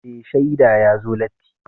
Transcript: Mai shaida ya zo latti.